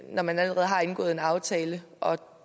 når man allerede har indgået en aftale og